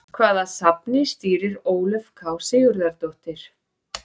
Hvaða safni stýrir Ólöf K Sigurðardóttir?